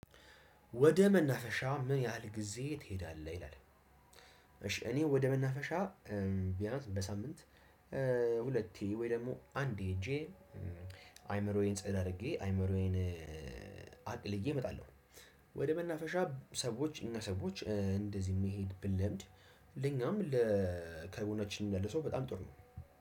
ወደ መናፈሻ ምን ያህል ጊዜ ትሄዳለህ? ይላል እሺ እኔ ወደ መናፈሻ ቢያንስ በሳምንት ሁለቴ ወይ ደግሞ አንድ ሄጄ አይምሮዬን ጸዳ አድርጌ አይምሮዬን አቅልዬ እመጣለሁ። ወደ መናፈሻ ሰዎች እኛ ሰዎች እንደዚህ መሄድ ብንለምድ ለኛም ለጎናችንም ላለ ሰው በጣም ጥሩ ነው።